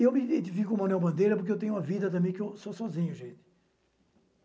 E eu me identifico com o Manuel Bandeira porque eu tenho uma vida também que eu sou sozinho, gente.